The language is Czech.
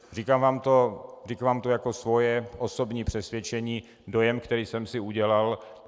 Říkám vám to jako svoje osobní přesvědčení, dojem, který jsem si udělal.